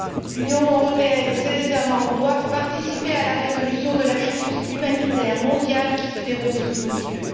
L'Union européenne et ses États membres doivent participer à la résolution de la crise humanitaire mondiale qui se déroule sous nos yeux.